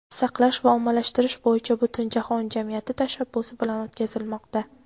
saqlash va ommalashtirish bo‘yicha Butunjahon jamiyati tashabbusi bilan o‘tkazilmoqda.